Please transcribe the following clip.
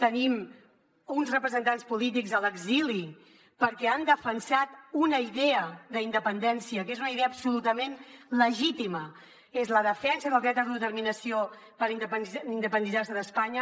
tenim uns representants polítics a l’exili perquè han defensat una idea d’independència que és una idea absolutament legítima és la defensa del dret a l’auto determinació per independitzar se d’espanya